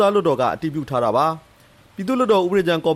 သားလွှတ်တော်က အတည်ပြုထားတဲ့အချက်ကို ပြည်သူ့လွှတ်တော်ဥပဒေကြမ်းကော်